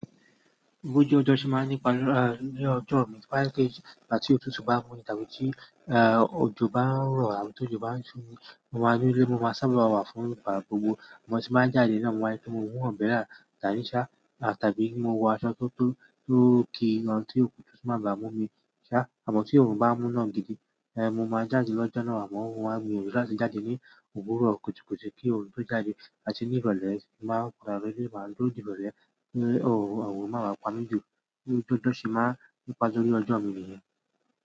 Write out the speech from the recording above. Bi ojú ọjọ́ ṣe máa ń ní ipa lórí ọjọ́ mi, to ba jepé igbati òtútù bá mú ni tàbí tí èè òjò bá ń rọ̀ àbí tó òjò bá ń ṣú ni, mo máa dúró nílé, mo máa sábà wà fún ìgbà gbogbo. Mo sì máa jáde na mo máa rí pe mó mu umbrella da ní ṣá tàbí kí n wọ aṣọ tó kí gan tí òtútù máa ba mú mi ṣá. Àmọ́ tí oòrùn bá mú ná gidi, èè mo máa jáde lọ́jọ́ náà amọ́ ohun mi ò rántí jáde ní òwúrọ̀ kùtú kùtu kí orun tó jáde áti ní ìrọ̀lẹ́ sì máa rà á wẹ́rẹ́ wá lódi bẹ̀rẹ̀ ẹ́ kí òwò máa wà pa mi jù bí ó ti jẹ́ tí ó ṣe máa ń nípa lórí ọjọ́ mi nìyẹn.